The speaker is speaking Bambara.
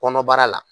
Kɔnɔbara la